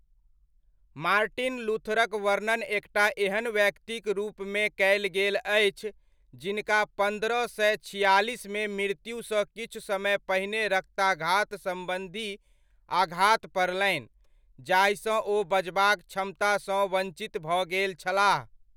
Martin लूथरक वर्णन एकटा एहन व्यक्तिक रूपमे कयल गेल अछि, जिनका पन्द्रह सय छियालिसमे मृत्युसँ किछु समय पहिने रक्ताघात सम्बन्धी आघात पड़लनि जाहिसँ ओ बजबाक क्षमतासँ वञ्चित भऽ गेल छलाह।